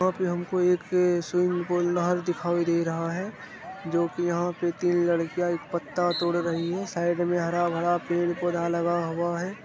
यहां पे हमको एक स्विमिंग पूल नहर दिखाई दे रहा है जो कि यहां पे तीन लड़कियां एक पत्ता तोड़ रही हैं साइड में हरा भरा पेड़-पौधा लगा हुआ है।